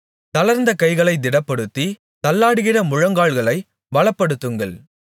தளர்ந்த கைகளைத் திடப்படுத்தி தள்ளாடுகிற முழங்கால்களைப் பலப்படுத்துங்கள்